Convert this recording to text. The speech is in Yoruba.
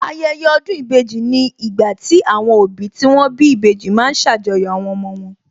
Ayẹyẹ ọdún ìbejì ni ìgbà tí àwọn òbí tí wón bí ìbejì ma ń ṣàjọyọ̀ àwọn ọmọ wọn